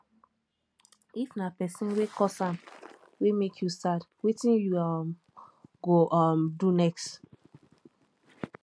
if na pesin wey cause am wey mek yu sad wetin yu um go um do next